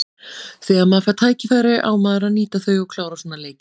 Þegar maður fær tækifæri á maður að nýta þau og klára svona leiki.